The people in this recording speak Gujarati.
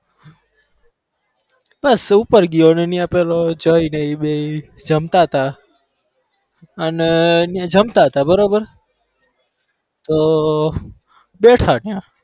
બસ ઉપર ગયો ને અહીંયા પેલો જય ને બેય જમતા હતા અને જમતા હતા બરોબર તો બેઠા ત્યાં